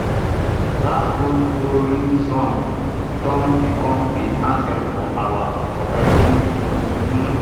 dat old hoeing song don become de anthem for our cooperative group um